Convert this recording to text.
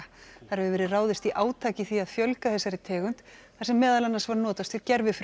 þar hefur verið ráðist í átak í því að fjölga þessari tegund þar sem meðal annars var notast við